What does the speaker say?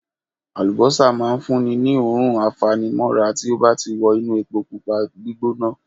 Àlùbọ́sà máa ń fún ni ní òórùn a fa ni mọ́ra tí ó bá ti wọ inú epo Pupa gbígbóná.